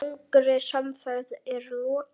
Langri samferð er lokið.